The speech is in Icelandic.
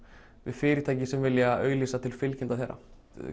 við fyrirtæki sem vilja auglýsa til fylgjenda þeirra